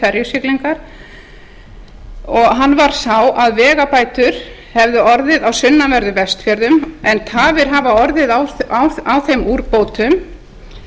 ferjusiglingar og hann var sá að vegabætur hefðu orðið á sunnanverðum vestfjörðum en tafir hafa orðið á þeim úrbótum